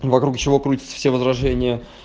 вокруг чего крутятся все возражения